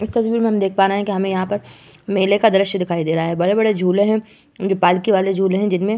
इस तस्वीर में हम देख पा रहे हैं की हमे यहाँ पर मेले का दॄश्य का दिखाई दे रहा है। बड़े बड़े झूले हैं। पालखी वाले झुले हैं। जिनमे --